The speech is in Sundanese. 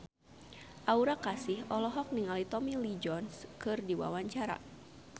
Aura Kasih olohok ningali Tommy Lee Jones keur diwawancara